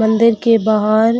मंदिर की बाहर